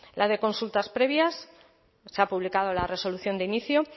la de consultas previas se ha publicado la resolución de inicio